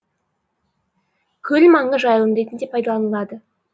көл маңы жайылым ретінде пайдаланылады